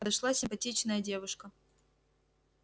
пришла симпатичная девушка